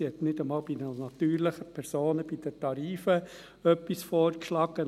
Sie hat nicht einmal bei den natürlichen Personen bei den Tarifen etwas vorgeschlagen.